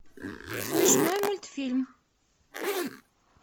смешной мультфильм